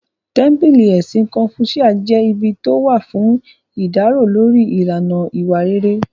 Tẹ́ḿpílì Ẹ̀sìn kọ́fúṣíà jẹ́ ibi tó wà fún ìdárò lórí ìlànà ìwà rere